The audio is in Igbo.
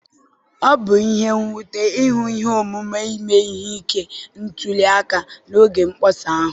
Ọ bụ ihe nwute ịhụ ihe omume ime ihe ike ntuli aka n'oge mkpọsa ahụ.